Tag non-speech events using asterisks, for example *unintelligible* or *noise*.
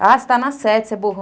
Ah, você está na sete, *unintelligible*